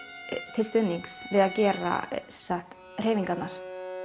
til stuðnings til að gera hreyfingarnar